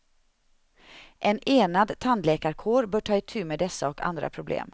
En enad tandläkarkår bör ta itu med dessa och andra problem.